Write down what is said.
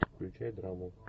включай драму